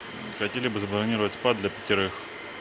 хотели бы забронировать спа для пятерых